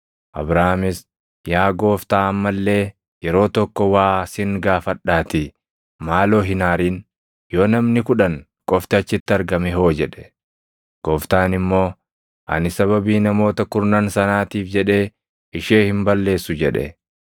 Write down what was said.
Abrahaamis, “Yaa Gooftaa amma illee yeroo tokko waa sin gaafadhaatii maaloo hin aarin; yoo namni kudhan qofti achitti argame hoo?” jedhe. Gooftaan immoo, “Ani sababii namoota kurnan sanaatiif jedhee ishee hin balleessu” jedhe.